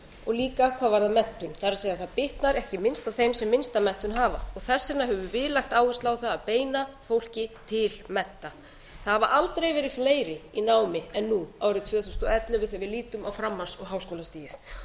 og líka hvað varðar menntun það er að það bitnar ekki minnst á þeim sem minnsta menntun hafa þess vegna höfum við lagt áherslu á það að beina fólki til mennta það hafa aldrei verið fleiri í námi en nú árið tvö þúsund og ellefu þegar við lítum á framhalds og háskólastigið